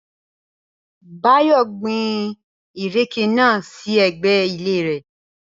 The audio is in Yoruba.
Báyò̩ gbin ìrèké náà sí e̩gbé̩ ilé rè̩